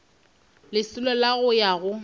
lesolo la go ya go